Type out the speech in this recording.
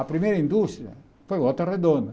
A primeira indústria foi Volta Redonda.